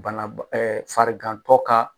Banaba farigantɔ ka